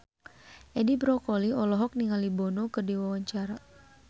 Edi Brokoli olohok ningali Bono keur diwawancara